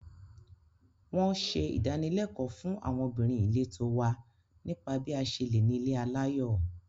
Wọ́n ṣe ìdánilẹ́kọ̀ọ́ fún àwọn obìnrin ìletò wa nípa bí a ṣe lè nílé aláyọ̀